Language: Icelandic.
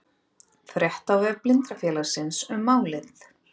Frétt á vef Blindrafélagsins um málið